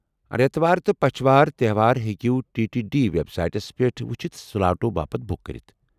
رٮ۪تٕوار تہٕ پچھوارِ تہوار ہیكو ٹی ٹی ڈی وٮ۪بسایٹس پٮ۪ٹھ وُچھِتھ سلاٹو باپت بُک کرِتھ ۔